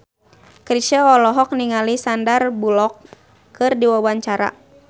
Chrisye olohok ningali Sandar Bullock keur diwawancara